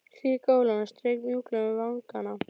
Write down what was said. Hlý golan strauk mjúklega um vangana.